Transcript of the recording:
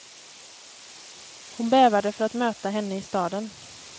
Hon bävade för att möta henne i staden.